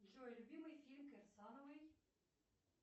джой любимый фильм кирсановой